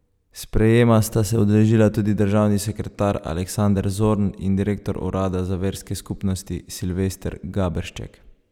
Sprejema sta se udeležila tudi državni sekretar Aleksander Zorn in direktor Urada za verske skupnosti Silvester Gaberšček.